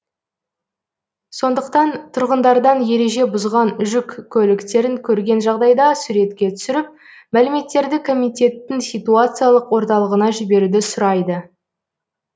сондықтан тұрғындардан ереже бұзған жүк көліктерін көрген жағдайда суретке түсіріп мәліметтерді комитеттің ситуациялық орталығына жіберуді сұрайды